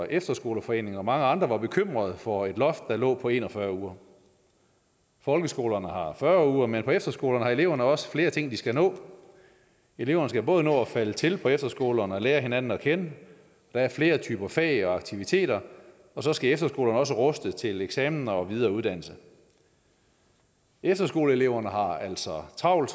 efterskoleforeningen og mange andre var bekymrede for et loft på en og fyrre uger folkeskolerne har fyrre uger men på efterskolerne har eleverne også flere ting de skal nå eleverne skal både nå at falde til på efterskolerne og lære hinanden at kende der er flere typer fag og aktiviteter og så skal efterskolerne også ruste dem til eksaminer og videre uddannelse efterskoleeleverne har altså travlt